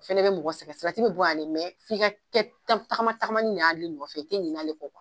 Fɛnɛ be mɔgɔ sɛgɛ salati bi bɔ yan dɛ mɛn f'i ka kɛ tagama tagamani de ye ale nɔfɛ i te ɲinɛ ale kɔ kuwa